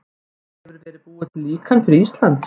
Hefur verið búið til líkan fyrir Ísland?